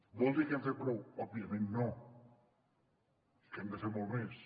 vol dir que hem fet prou òbviament no hem de fer molt més